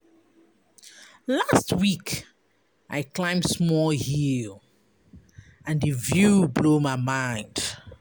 Last week, I climb small hill, and di view blow my mind.